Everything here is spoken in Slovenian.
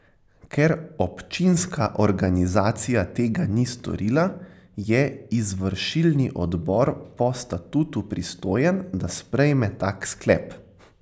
Ker občinska organizacija tega ni storila, je izvršilni odbor po statutu pristojen, da sprejme tak sklep.